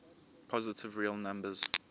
positive real numbers